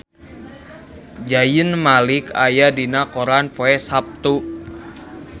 Zayn Malik aya dina koran poe Saptu